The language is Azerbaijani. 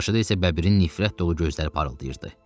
Qarşıda isə bəbirin nifrət dolu gözləri parıldayırdı.